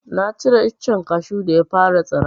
Na cire icen kashu da ya fara tsira.